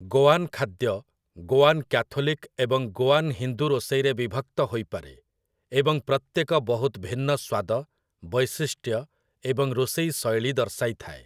ଗୋଆନ୍ ଖାଦ୍ୟ ଗୋଆନ୍ କ୍ୟାଥୋଲିକ୍ ଏବଂ ଗୋଆନ୍ ହିନ୍ଦୁ ରୋଷେଇରେ ବିଭକ୍ତ ହୋଇପାରେ ଏବଂ ପ୍ରତ୍ୟେକ ବହୁତ ଭିନ୍ନ ସ୍ୱାଦ, ବୈଶିଷ୍ଟ୍ୟ ଏବଂ ରୋଷେଇ ଶୈଳୀ ଦର୍ଶାଇଥାଏ ।